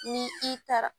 Ni i taara